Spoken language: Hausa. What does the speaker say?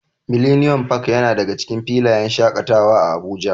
Millennium park yana daga cikin filayen shaƙatawa a Abuja.